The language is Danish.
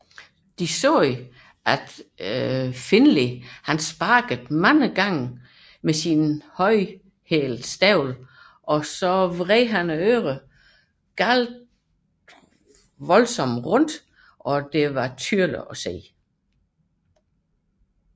Effter sigende sparkede Kitaen Finley adskillige gange med højhælede støvler og vred hans ører voldsomt rundt og efterlod synlige skader